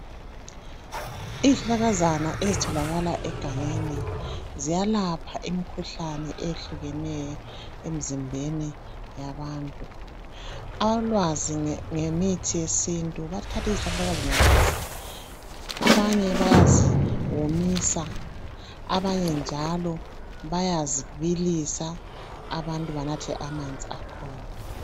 Izihlakazana ezitholakala egangeni ziyalapha imkhuhlane eyehlukeneyo emzimbeni yabantu. Alwazi ngemithi yesintu bayathatha izihlahlakazana lezi. Abanye bayaziwomisa abanye njalo bayazibilisa abantu banathe amanzi akhona.